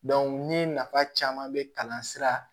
ni nafa caman be kalan sira